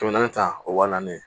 Kɛmɛ naani ta o wa naani